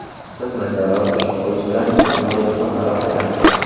Biz Mirjalol Qo‘shoqovich bilan doimo do‘stona aloqadamiz.